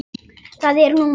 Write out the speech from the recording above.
Það er nú margt.